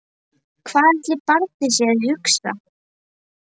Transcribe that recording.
Hvað ætli barnið sé að hugsa?